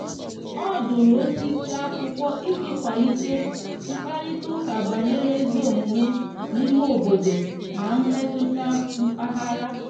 o dụrụ osisi akwụkwo iji kwalite mkparịta uka banyere ezi omume n'ime obodo na mmetụta mpaghara